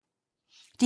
DR1